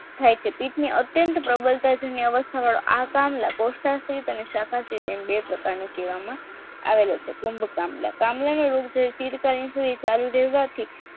થાય છે પિત્ત અત્યંત પ્રબળતા વાળા આહટહલ પૌષ્ટ્રહિત અને સકાએ એમ બે પ્રકારના કહેવામાં આવે છે કુમ્ભ કામલા કમળાની સ્થિરતા